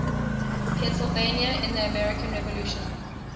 pennsylvania in the american revolution